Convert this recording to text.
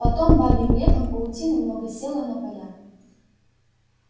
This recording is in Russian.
потом бабьим летом паутины много село на поля